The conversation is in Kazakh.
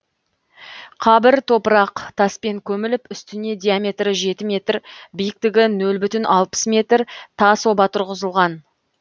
қабір топырақ таспен көміліп үстіне диаметрі жеті метр биіктігі нөл бүтін алпыс метр тас оба тұрғызылған